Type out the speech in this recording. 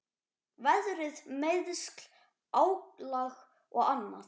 Veðrið, meiðsl, álag og annað.